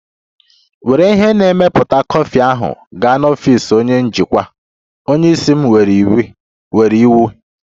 Were ihe na-emepụta kọfị ahụ gaa n'ọfịs onye njikwa! Onye isi m nyere iwu.